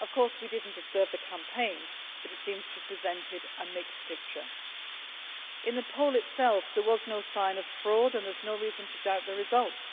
We did not observe the campaign, but it seems to have presented a mixed picture. In the poll itself, there was no sign of fraud and there is no reason to doubt the results.